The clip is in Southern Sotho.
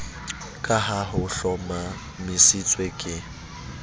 ka ha ho hlomamisitswe ke